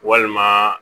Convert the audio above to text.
Walima